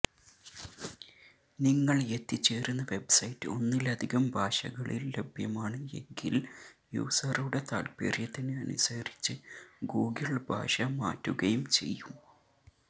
നിങ്ങൾ എത്തിച്ചേരുന്ന വെബ്സൈറ്റ് ഒന്നിലധികം ഭാഷകളിൽ ലഭ്യമാണ് എങ്കിൽ യൂസറുടെ താൽപര്യത്തിന് അനുസരിച്ച് ഗൂഗിൾ ഭാഷ മാറ്റുകയും ചെയ്യും